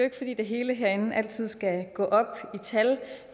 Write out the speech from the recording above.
ikke fordi det hele herinde altid skal gå op i tal